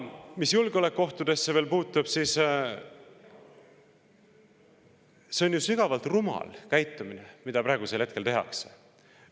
Mis julgeolekuohte veel puudutab, siis see on ju sügavalt rumal käitumine, mida me praegu.